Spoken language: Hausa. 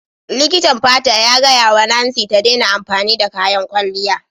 Likitan fata ya gaya wa Nancy ta daina amfani da kayan kwalliya.